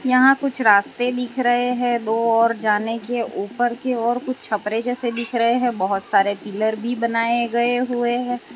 यहां कुछ रास्ते दिख रहे हैं दो और जाने के ऊपर की और कुछ छपरे जैसे दिख रहे हैं बहोत सारे पिलर भी बनाए गए हुए है।